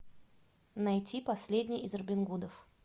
найти последний из робин гудов